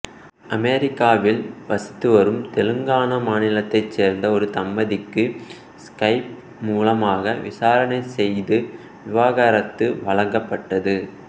அமெரிக்காவில் வசித்துவரும் தெலுங்கானா மாநிலத்தைச் சேர்ந்த ஒரு தம்பதிக்கு ஸ்கைப் மூலமாக விசாரணை செய்து விவாகரத்து வழங்கப்பட்டது